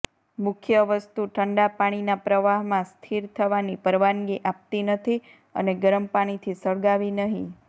મુખ્ય વસ્તુ ઠંડા પાણીના પ્રવાહમાં સ્થિર થવાની પરવાનગી આપતી નથી અને ગરમ પાણીથી સળગાવી નહી